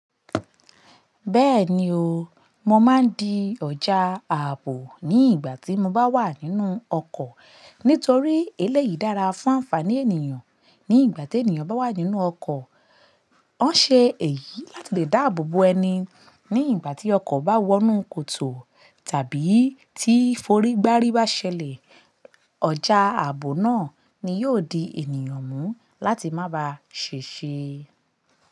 Bẹ́ẹ̀ni o, mo máa ń di ọjà ààbò ní ìgbà tí mo bá wà nínú ọkọ̀ nítorí eléyìí dára fún ànfàní ènìyàn ní ìgbà tí ènìyàn bá wà nínú ọkọ̀. Ọ́n ṣe èyí láti lè dáàbò bo ẹni ní ìgbà tí ọkọ̀ bá wọnú kòtò tàbí tí forigbari bá ṣẹlẹ̀. Ọjà ààbò náà ni yóò di ènìyàn mú láti má ba ṣe ṣe.